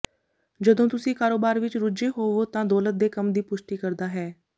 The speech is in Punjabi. ਜਦੋਂ ਤੁਸੀਂ ਕਾਰੋਬਾਰ ਵਿਚ ਰੁੱਝੇ ਹੋਵੋ ਤਾਂ ਦੌਲਤ ਦੇ ਕੰਮ ਦੀ ਪੁਸ਼ਟੀ ਕਰਦਾ ਹੈ